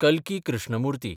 कल्की Krishnamurti